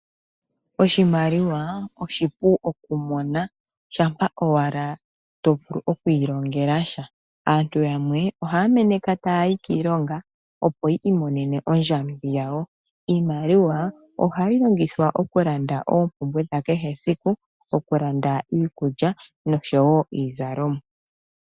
Oshimaliwa oshipu okumona shampa owala tovulu okwiilongelasha. Aantu yamwe ohaya meneka tayayi kiilonga opo yi imonene ondjambi yayo. Iimaliwa ohayi longithwa oku landa oompumbwe dhakehe siku okulanda iikulya noshowo iizalomwa.